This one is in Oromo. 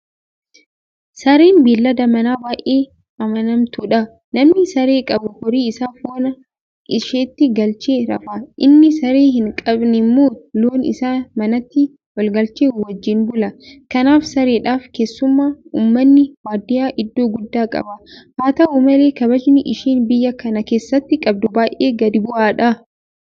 Sareen beellada manaa baay'ee amanamtuudha. Namni saree qabu horii isaa foonaa isheetti galchee rafa. Inni Saree hinqabnemmooo loon isaa manatti olgalchee wajjin bula. Kanaaf Sareedhaaf keessumaa uummanni baadiyyaa iddoo guddaa qaba. Haata'u malee kabajni isheen biyya kana keessatti qabdu baay'ee gadi bu'aadha.